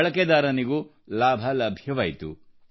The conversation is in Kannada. ಬಳಕೆದಾರನಿಗೂ ಲಾಭ ಲಭ್ಯವಾಯಿತು